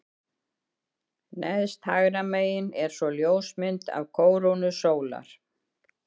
Neðst hægra megin er svo ljósmynd af kórónu sólar.